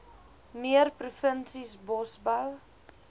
meer provinsies bosbou